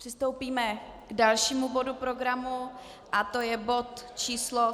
Přistoupíme k dalšímu bodu programu, a to je bod číslo